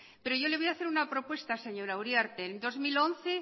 pero yo le voy a hacer una propuesta señora uriarte en dos mil once